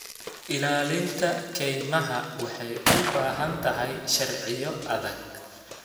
Ilaalinta kaymaha waxay u baahan tahay sharciyo adag.